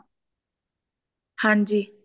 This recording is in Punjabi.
ਹਾਂਜੀ